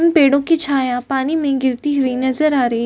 उन पेड़ों की छाया पानी में गिरती हुई नजर आ रही है।